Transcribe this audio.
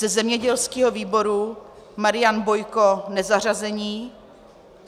Ze zemědělského výboru Marian Bojko nezařazení.